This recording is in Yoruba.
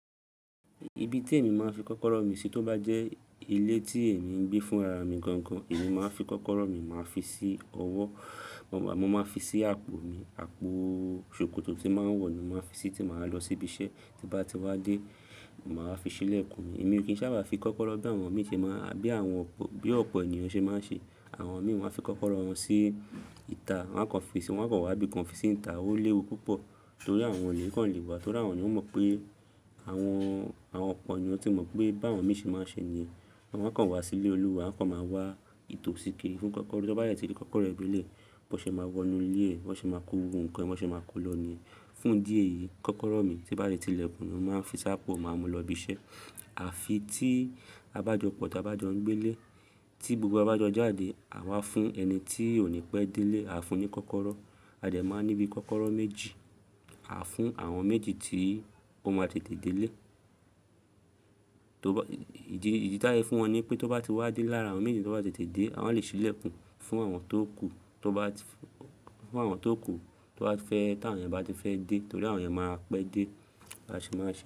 Ibi tí èmi máa ń fi kọ́kọ́rọ́ mi sí tó bá jẹ́ ilé tí èmi ń gbé fún ara mi gangan, èmi máa ń fi kọ́kọ́rọ́ mi, màá fi sí ọwọ́, mo máa fi sí àpò mi, àpò ṣòkòtò tí máa ń wọ̀ ni mo máa ń fi sí tí màá lọ síbi iṣẹ́. Ti bá ti wá dé, màá fi sílẹ̀ kùn mí. Èmi kìí sábà fi kọ́kọ́rọ́ bí àwọn mi ṣe máa n bí àwọn, bí ọ̀pọ̀ ènìyàn ṣe máa ń ṣe. Àwọn mi wọ́n á fi kọ́kọ́rọ́ wọn sí ìta, wọ́n kàn fi sí, wọ́n kàn wá bíi kàn fi sí ìta, ó léwu púpọ̀ torí àwọn olè kàn lè wá. Torí àwọn ni wọ́n mọ̀ pé àwọn, àwọn ọ̀pọ̀ ènìyàn tí mọ̀ pé bá àwọn mi ṣe máa ń ṣe ni. Wa kàn wá sílé olúwa, wa kàn máa wá ìtòsí kiri fún kọ́kọ́rọ́. Tí wọ́n bá dẹ ti rí kọ́kọ́rọ́ bi ilé, bọ́ ṣe máa wọnú ilé ẹ, bọ́ ṣe máa kó gbogbo nǹkan, bọ́ ṣe máa kó lọ ní. Fún díẹ̀ yìí, kọ́kọ́rọ́ mi tí bá ti lékùn ni mo máa ń fi sápò, màá mu lọ ibi iṣẹ́. Àfi tí a bá jọ pọ̀, tí a bá jọ ń gbé ilé, tí gbogbo wa bá jọ jáde, àwa fún ẹni tí ò ní pẹ́ dé ilé, àá fún un ní kọ́kọ́rọ́. A dẹ máa ní bí i kọ́kọ́rọ́ méjì, à ń fún àwọn méjì tí ó máa tètè dé ilé. Torí bá-- ìdí, ìdí tí a lé fún wọn ni pé tó bá ti wá dé lára àwọn méjì tó bá tètè dé, a lè sílẹ̀ kùn fún àwọn tó kù. Tó bá ti f-- fún àwọn tó kù tó bá fẹ́, tí àwọn rẹ̀ bá ti fẹ́ dé torí àwọn rẹ̀ máa pẹ́ dé. A sì máa sẹ.